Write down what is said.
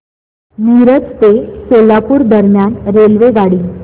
मिरज ते सोलापूर दरम्यान रेल्वेगाडी